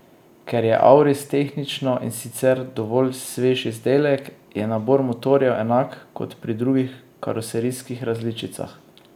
Ker je auris tehnično in sicer dovolj svež izdelek, je nabor motorjev enak kot pri drugih karoserijskih različicah.